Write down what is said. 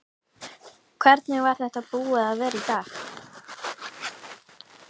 Hvernig er þetta búið að vera í dag?